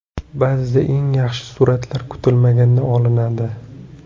Ba’zida eng yaxshi suratlar kutilmaganda olinadi.